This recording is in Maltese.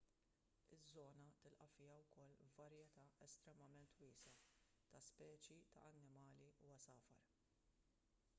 iż-żona tilqa' fiha wkoll varjetà estremament wiesgħa ta' speċi ta' annimali u għasafar